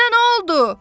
Sənə nə oldu?